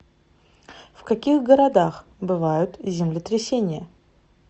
в каких городах бывают землетрясения